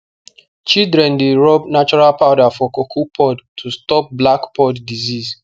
children dey rub natural powder for cocoa pod to stop black pod disease